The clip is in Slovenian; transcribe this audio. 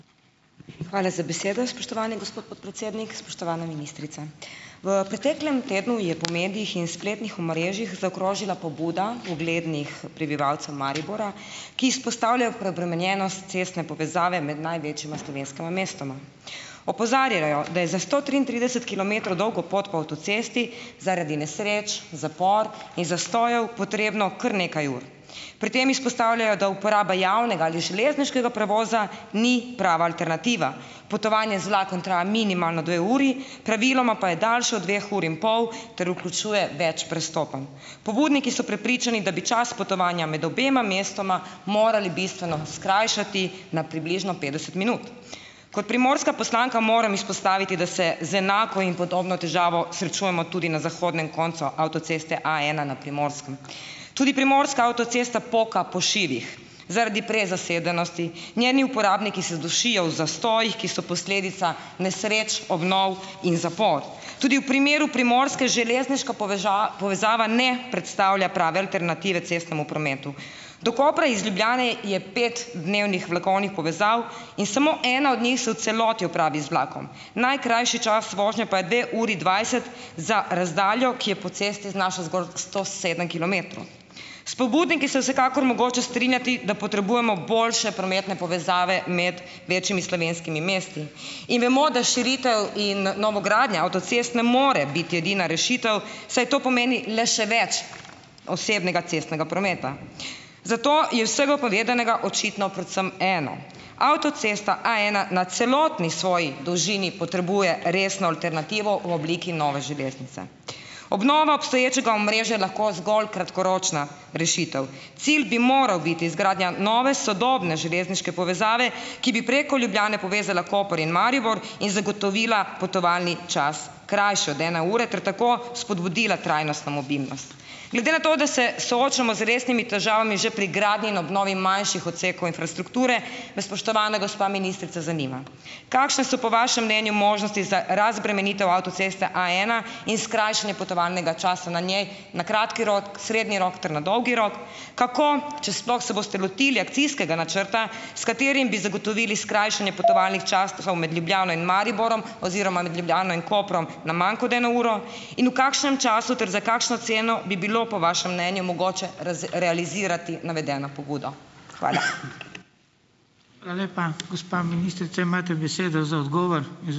Hvala za besedo, spoštovani gospod podpredsednik, spoštovana ministrica. V preteklem tednu je po medijih in spletnih omrežjih zaokrožila pobuda uglednih prebivalcev Maribora, ki izpostavljajo preobremenjenost cestne povezave med največjima slovenskima mestoma. Opozarjajo, da je za sto triintrideset kilometrov dolgo pot po avtocesti zaradi nesreč, zapor in zastojev potrebno kar nekaj ur. Pri tem izpostavljajo, da uporaba javnega ali železniškega prevoza ni prava alternativa. Potovanje z vlakom traja minimalno dve uri, praviloma pa je daljše od dveh ur in pol, ter vključuje več prestopanj. Pobudniki so prepričani, da bi čas potovanja med obema mestoma morali bistveno skrajšati na približno petdeset minut. Kot Primorska poslanka moram izpostaviti, da se z enako in podobno težavo srečujemo tudi na zahodnem koncu avtoceste A ena na Primorskem. Tudi Primorska avtocesta poka po šivih. Zaradi prezasedenosti njeni uporabniki se dušijo v zastojih, ki so posledica nesreč, obnov in zapor. Tudi v primeru Primorske železniška povezava ne predstavlja prave alternative cestnemu prometu. Do Kopra iz Ljubljane je pet dnevnih vlakovnih povezav in samo ena od njih se v celoti opravi z vlakom. Najkrajši čas vožnje pa je dve uri dvajset za razdaljo, ki je po cesti znaša zgolj sto sedem kilometrov. S pobudniki se vsekakor mogoče strinjati, da potrebujemo boljše prometne povezave med večjimi slovenskimi mesti. In vemo, da širitev in novogradnja avtocest ne more biti edina rešitev, saj to pomeni le še več osebnega cestnega prometa. Zato je vsega povedanega očitno predvsem eno. Avtocesta A ena na celotni svoji dolžini potrebuje resno alternativo v obliki nove železnice. Obnova obstoječega omrežja lahko zgolj kratkoročna rešitev. Cilj bi moral biti izgradnja nove, sodobne železniške povezave, ki bi preko Ljubljane povezala Koper in Maribor in zagotovila potovalni čas krajši od ene ure ter tako spodbudila trajnostno mobilnost. Glede na to, da se soočamo z resnimi težavami že pri gradnji in obnovi manjših odsekov infrastrukture, me spoštovana gospa ministrica zanima: Kakšne so, po vašem mnenju, možnosti za razbremenitev avtoceste A ena in skrajšanje potovalnega časa na njej na kratki rok, srednji rok ter na dolgi rok? Kako, če sploh, se boste lotili akcijskega načrta, s katerim bi zagotovili skrajšanje potovalnih časov med Ljubljano in Mariborom oziroma med Ljubljano in Koprom na manj kot eno uro? In v kakšnem času ter za kakšno ceno bi bilo po vašem mnenju mogoče realizirati navedeno pobudo? Hvala .